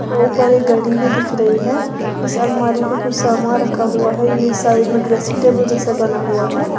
ऊपर एक घड़ी भी दिख रही है इस अलमारी पे कुछ सामान रखा हुआ है ये इस साइड में ड्रेसिंग टेबल जैसा बना हुआ है।